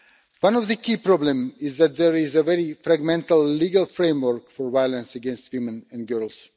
One of the key problems is that there is a very fragmented legal framework for violence against women and girls.